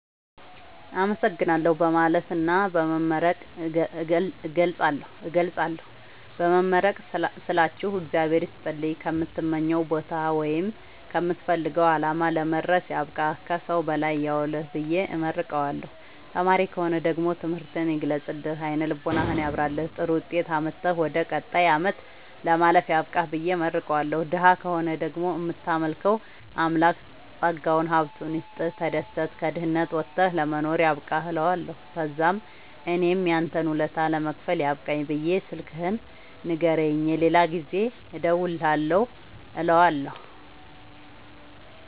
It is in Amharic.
አመሠግናለሁ በማለትና በመመረቅ እገልፃለሁ። በመመረቅ ስላችሁ እግዚአብሄር ይስጥልኝ ከምትመኘዉ ቦታወይም ከምትፈልገዉ አላማ ለመድረስያብቃህ ከሠዉ በላይ ያዉልህብየ እመርቀዋለሁ። ተማሪ ከሆነ ደግሞ ትምህርትህን ይግለጥልህ አይነ ልቦናህን ያብራልህ ጥሩዉጤት አምጥተህ ወደ ቀጣይ አመት ለማለፍ ያብቃህ ብየ እመርቀዋለሁ። ደሀ ከሆነ ደግሞ እምታመልከዉ አምላክ ጠጋዉን ሀብቱይስጥህ ተደስተህ ከድህነት ወተህ ለመኖር ያብቃህእለዋለሁ። ተዛምእኔም ያንተን ወለታ ለመክፈል ያብቃኝ ብየ ስልክህን ንገረኝ የሌላ ጊዜ እንድደዉልልህ እለዋለሁ